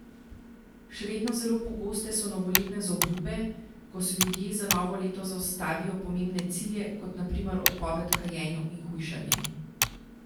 Še vedno zelo pogoste so novoletne zaobljube, ko si ljudje za novo leto zastavijo pomembne cilje, kot na primer odpoved kajenju in hujšanje.